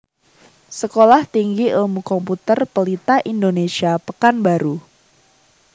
Sekolah Tinggi Ilmu Komputer Pelita Indonesia Pekanbaru